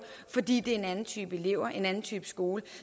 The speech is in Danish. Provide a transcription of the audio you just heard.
fordi det en anden type elever en anden type skole